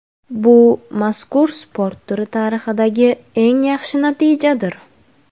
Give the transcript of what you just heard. Bu mazkur sport turi tarixidagi eng yaxshi natijadir.